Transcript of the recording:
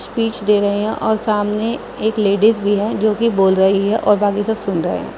Speech दे रहे है और सामने एक लेडिस भी है जोकी बोल रही है और बाकी सब सुन रहे है।